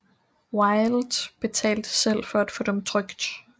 Wilde betalte selv for at få dem trykt